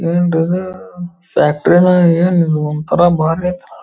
ಏನ್ರೀ ಇದು ಫ್ಯಾಕ್ಟರಿನ ಏನ್ ಇದು ಒಂತರ ಬಾಡಿಗೆ ತರ -